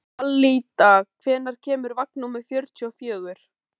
Alida, hvenær kemur vagn númer fjörutíu og fjögur?